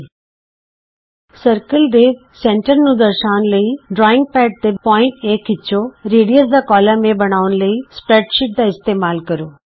ਗੋਲ ਦਾਇਰੇ ਦੇ ਕੇਂਦਰ ਨੂੰ ਦਰਸਾਉਣ ਲਈ ਡਰਾਇੰਗ ਪੈਡ ਤੇ ਬਿੰਦੂ A ਖਿਚੋ ਅਰਧ ਵਿਆਸ ਦਾ ਕਾਲਮ A ਬਣਾਉਣ ਲਈ ਸਪਰੈਡਸ਼ੀਟ ਦਾ ਇਸਤੇਮਾਲ ਕਰੋ